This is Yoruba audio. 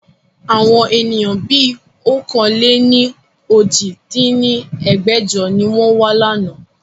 Àwọn ènìyàn bí ọ̀kan-lé-ní-ojì dín ní ẹgbẹ́jọ ni wọn wa láánaà